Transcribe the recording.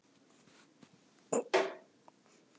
Annars sagði Friðþjófur alltaf að Oddur hefði augastað á Öldu.